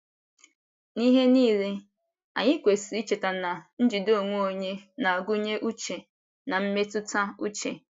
N'ihe niile, anyị kwesịrị icheta na njide onwe onye na - agụnye uche na mmetụta uche.